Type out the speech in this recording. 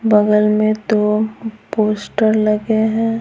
बगल में दो पोस्टर लगे हैं।